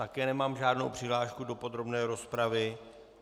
Také nemám žádnou přihlášku do podrobné rozpravy.